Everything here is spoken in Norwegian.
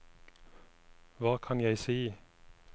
hva kan jeg si